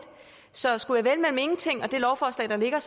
så skulle jeg vælge mellem ingenting og det lovforslag der ligger